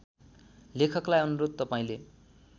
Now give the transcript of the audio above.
लेखकलाई अनुरोध तपाईँले